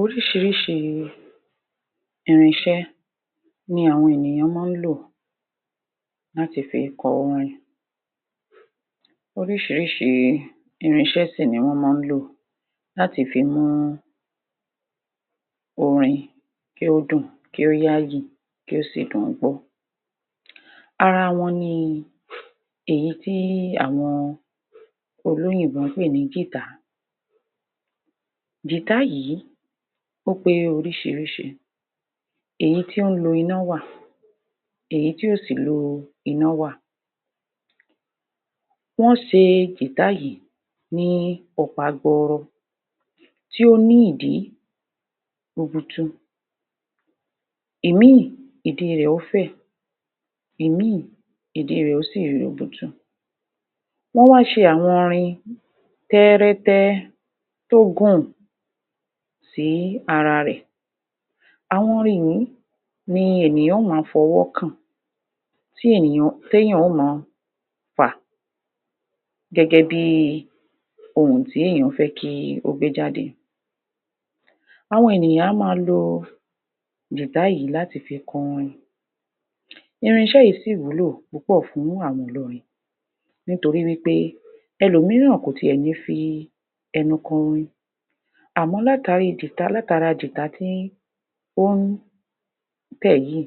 Oríṣiríṣi irin iṣẹ́ ni àwọn ènìyan maá n lò láti fi kọ orin, oríṣiríṣi irin ise sì ni wọ́n mán lò láti fi mú orin kí ó dùn, kí ó yáyì kí ò sì dùn gbọ́ ara wọn ni èyí tí àwọn olóyìnbó n pè ní gìtá (guitar), gìtá yìí ó pé oríṣiríṣi; èyí tí ó n lo iná wà èyí tí ò si lo iná wa. Wọ́n ṣe gìtá yìí ní ọ̀pá gbọọrọ tí ó ní ìdí rubutu ìmíì ìdí rẹ̀ yóó fẹ̀ ìmíì ìdí rẹ̀ yóò sì ri rubutu wọ́n was ̣e àwọn irin tẹ́rẹ́tẹ́ tó gùn sí ara rè, àwọn irin yìí ni ènìyàn yóò ma fọwọ́ kàn tẹ́yàn o mọ fà gẹ́gẹ́ bí ohùn tí èyàn fẹ́ jẹ́ kí o gbé jáde. Àwọn ènìyàn a ma lo gìtá yìí láti fi kọ orin, irin iṣẹ́ yìí sì wúlò púpọ̀ fún àwọn olórin nítori wípé ẹlòmíràn kò tí ẹ ní fi e nu korin àmọ́ látara gìtá tó n tẹ̀ yíì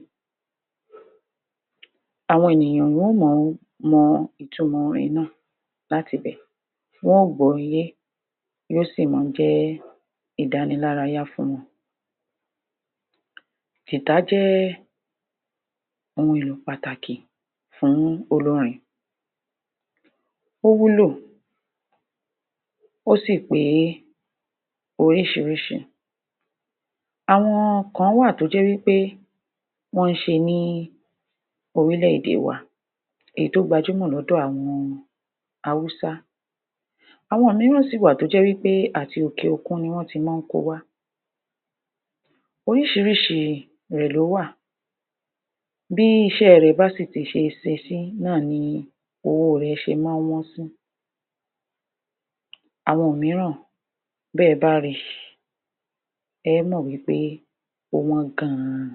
àwọn ènìyàn wọ́n o mọ mọ ìtumọ̀ orin náà láti bẹ̀ wọn ó gbọ yé yóò si mọ jẹ́ ìdáraya fún wọn. Gìtá jẹ́ ohun èlò pàtàkì fún olórin, ó wúlò ó sì pé oríṣiríṣi. Àwọn kan wà tó jẹ́ wípé wọ́n ṣe ní orílẹ̀-èdè wa èyí tó gbajúmò lọ́dọ̀ àwọn Haúsá, àwón kan sì wà tó jẹ́ wípé òkè-òkun ni wọ́n ti mań ko wá. Oríṣiríṣi rẹ̀ ló wà, bí iṣẹ rẹ̀ bá ṣì ti ṣe sesí ni owó rẹ̀ ṣe ma n wọ́n sí, àwọn míràn bẹ́ẹ ba ri ẹ ẹ́ mò wípé ó wọ́n gan ni.